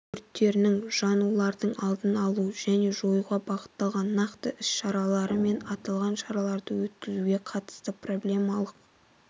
өрттерінің жанулардың алдын алу және жоюға бағытталған нақты іс-шаралары мен аталған шараларды өткізуге қатысты проблемалық